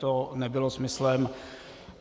To nebylo smyslem.